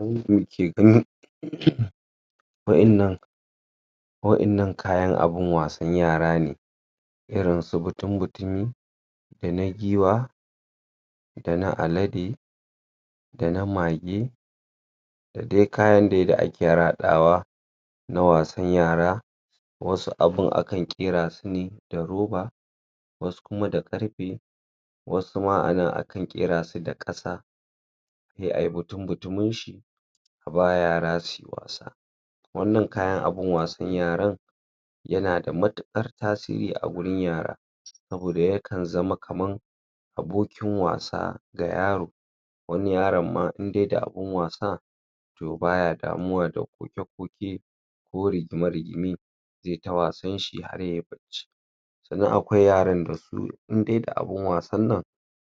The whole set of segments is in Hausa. um wayannan wayannan kayan abin wasan yara ne irin su mutun mutumi da na giwa da na alade dana mage dadai kyan dai da ake har haɗawa na wasan yara wasu abin aka ƙyerasune da roba wasu kuma da ƙarfe wasu ma aka ƙyerasu da ƙasa se ai mutun mutuminshi aba yara suyi was wannan kayan abun wasan yaran yanada matukar tasiri agurin yara saboda yaka zama kaman abokin wasa ga yaro wani yaronma idai da abin wasa to baya damuwa da koke koke ko rigima rigime zeta wasanshi har yayi bacci sannan akwai yaran dasu indai da abin wasanan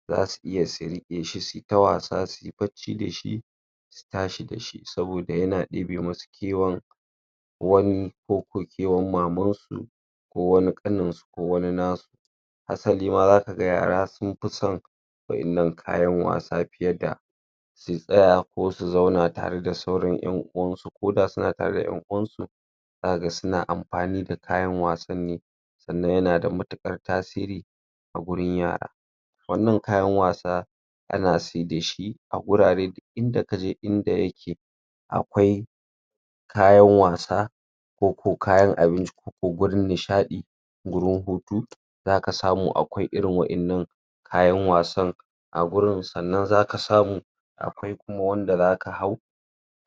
zasu iya su riƙeshi suita wasa dashi su tashi dashi saboda yana ɗebemusu kewan wani koko kewan mamansu kowani ƙaninsu ko wani nasu salima zakaga yara sunfi son wayannan kayan wasa fiyeda su tsaya ko su zauna tare da sauran yan uwansu koda suna tare da sauran yan uwansu zakaga suna amfani da kayan wasanne sannan yanada matuƙar tasiri agurin yara wannan kayan wasa ana sedashi agurare inda kaje inda yake akwai kayan wasa koko kayan abinci koko gurin nishaɗi gurin hutu zaka samu akwai irin wayannan kayan wasan agurin sannan zaka samu akwai kuma wanda zaka hau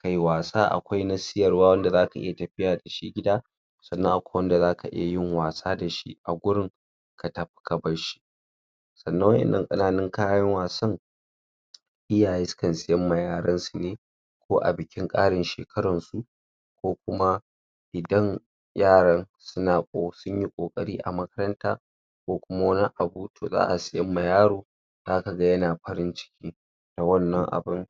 kai wasa akwai na siyarwa wanda zaka iya tafiya dashi gida sannan akwai wanda zaka iyayin wasa dashi agurin katafi kabarshi sannan wayannan ƙananun kayan wasa iyaye sukan suyamma yaransu ne ko abikin ƙarin shekaransu ko kuma idan yaran sunyi ƙoƙari a makaranta ko kuma wani abu to za siyamma yaro zakaga yana farin ciki da wannan abun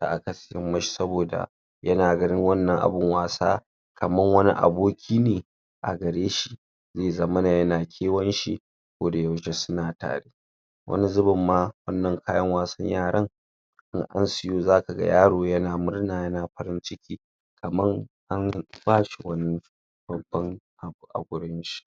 da aka siyan mashi saboda yana ganin wannan abun wasa kaman wani abokine agareshi ze zamana yana kewanshi ko da yaushe suna tare wani zubin ma wannan kayan wasan yaran in an suyo zakaga yaro yana murna yana farin ciki kaman anbashi wani babban agurunshi